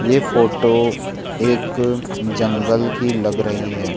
ये फोटो एक जंगल की लग रही है।